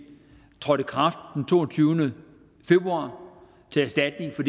trådte i kraft den toogtyvende februar til erstatning for